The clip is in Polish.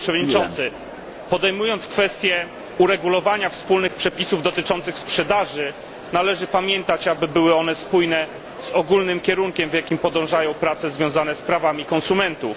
Panie Przewodniczący! Podejmując kwestię uregulowania wspólnych przepisów dotyczących sprzedaży, należy pamiętać, aby były one spójne z ogólnym kierunkiem, w jakim podążają prace związane z prawami konsumentów.